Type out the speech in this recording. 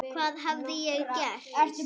Hvað hafði ég gert?